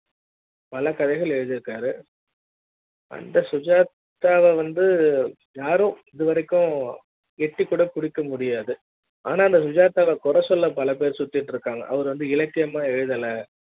பல கதைகள் எழுதிருக்காரு அந்த சுஜாதாவ வந்து யாரும் இதுவரைக்கும் எட்டி கூட பிடிக்க முடியாது ஆனால் சுஜாதாவ கொற சொல்ல பலபேரு சுத்திட்டு இருக்காங்க அவரு இலக்கிய மா எழுதல